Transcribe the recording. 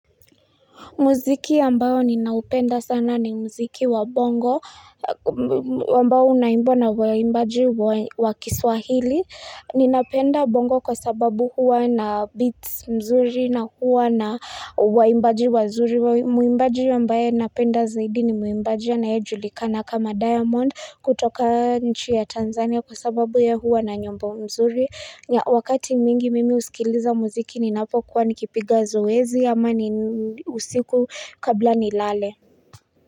Muziki ambao ninaupenda sana ni muziki wa bongo, ambao unawimbo na waimbaji wa kiswahili. Ninapenda bongo kwa sababu huwa na beats mzuri na huwa na waimbaji wazuri. Muimbaji ambaye napenda zaidi ni muimbaji anayejulikana kama diamond kutoka nchi ya Tanzania kwa sababu ya huwa na nyombo mzuri. Ya wakati mingi mimi usikiliza muziki ninapo kuwa nikipiga zoezi ama ni usiku kabla ni lale.